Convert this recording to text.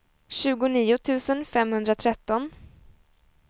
tjugonio tusen femhundratretton